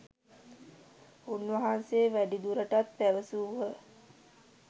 උන්වහන්සේ වැඩිදුරටත් පැවසූහ